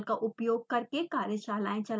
spoken tutorials का उपयोग करके कार्यशालाएं चलाती है